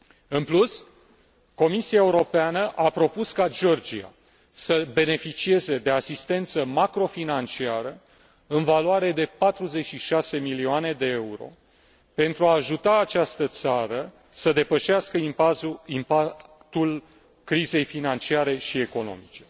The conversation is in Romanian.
În plus, Comisia Europeană a propus ca Georgia să beneficieze de asistență macrofinanciară în valoare de 46 de milioane de euro pentru a ajuta această țară să depășească impactul crizei financiare și economice.